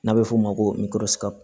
N'a bɛ f'o ma ko